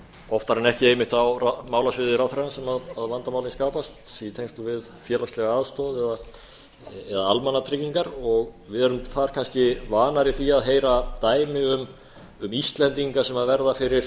oftar en ekki einmitt á málasviði ráðherrans að vandamálin skapast í tengslum við félagslega aðstoð eða almannatryggingar við erum þar kannski vanari að heyra dæmi um íslendinga sem verða fyrir